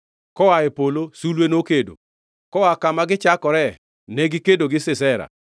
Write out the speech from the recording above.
Koa e polo, sulwe nokedo, koa kama gichakore negikedo gi Sisera.